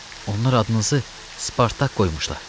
Onlar adınızı Spartak qoymuşlar.